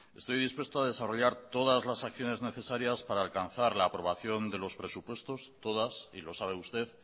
estoy dispuesto a desarrollar todas las acciones necesarias para alcanzar la aprobación de los presupuestos todas y lo sabe usted